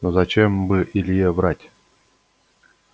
но зачем бы илье врать